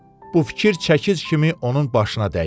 Bu fikir çəkic kimi onun başına dəydi.